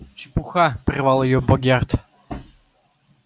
чепуха прервал её богерт